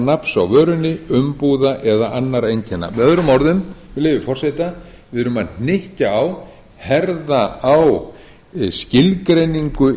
nafns á vörunni umbúða eða annarra einkenna með öðrum orðum með leyfi forseta við erum að hnykkja á herða á skilgreiningu